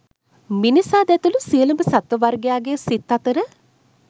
මිනිසාද ඇතුළු සියලුම සත්ත්ව වර්ගයාගේ සිත් අතර